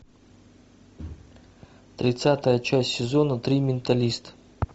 тридцатая часть сезона три менталист